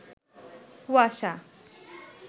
কুয়াশা